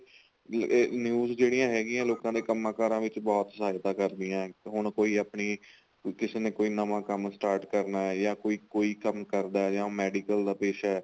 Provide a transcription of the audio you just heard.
B ਇਹ news ਜਿਹੜੀਆਂ ਹੈਗੀਆਂ ਲੋਕਾ ਦੇ ਕੰਮ ਕਾਰਾ ਵਿੱਚ ਬਹੁਤ ਸਹਾਇਤਾ ਕਰਦੀਆਂ ਹੁਣ ਕੋਈ ਆਪਣੀ ਵੀ ਕਿਸੇ ਨੇ ਕੋਈ ਨਵਾ ਕੰਮ start ਕਰਨਾ ਜਾਂ ਕੋਈ ਕੰਮ ਕਰਦਾ ਜਾਂ medical ਦਾ ਪੇਸ਼ਾ